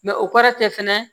Mɛ o kɔrɔ tɛ fɛnɛ